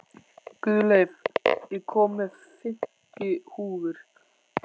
Guðleif, ég kom með fimmtíu húfur!